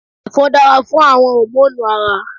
Ẹ̀fọ́ dára fún àwon hòmónù Ara